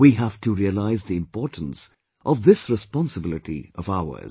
We have to realise the importance of this responsibility of ours